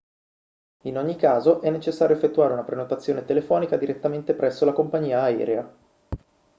in ogni caso è necessario effettuare una prenotazione telefonica direttamente presso la compagnia aerea